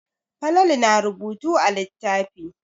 Falalu na rubutu a littafi.